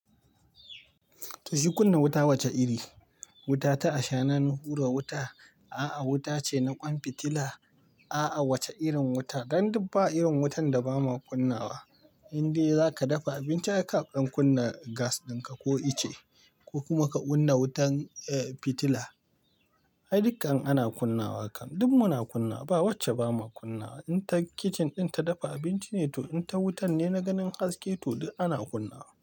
To shi kunna wuta wacce iri? Wuta ta ashana ni hura wuta, a'a wuta ce na ƙwan fitila, a'a wacce irin wuta? Dan duk ba irin wutan da bama kunna wa. Inde za ka dafa abinci ai ka dan kunna gas ɗin ka ko ice ko kuma ka kunna wutan, eh fitila. Ai dukkan ana kunna wa kam, duk muna kunna ba wacce ba ma kunna wa. In kai kicin ɗin ka dafa abinci ne to, in ta wutan ne na ganin haske to, duk ana kunna wa.